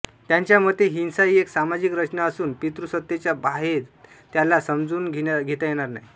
त्यांच्या मते हिंसा हि एक सामाजिक रचना असून पितृसत्तेच्या बाहेत त्याला समजून घेत येणार नाही